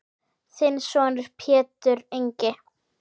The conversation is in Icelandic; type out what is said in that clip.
Þinn sonur Pétur Ingi.